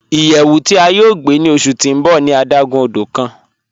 Iyẹwù ti a yọ̀ gbe ni ọṣu ti n bọ̀ ni adágún ọdọ̀ kan.